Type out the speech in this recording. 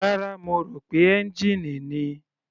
Rárá, mo rò pé ẹ́ngìnì ni.